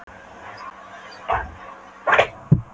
Það var vestan hvassviðri og öldurnar risu hátt.